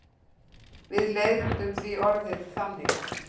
Við leiðréttum því orðið þannig.